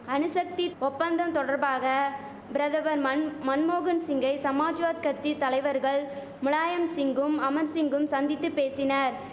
அணுசக்தி ஒப்பந்தம் தொடர்பாக பிரதவன் மன் மன்மோகன் சிங்கை சமாஜ்வாத் கத்தி தலைவர்கள் முலாயம் சிங்கும் அமர் சிங்கும் சந்தித்து பேசினர்